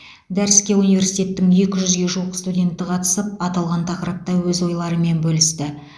дәріске университеттің екі жүзге жуық студенті қатысып аталған тақырыпта өз ойларымен бөлісті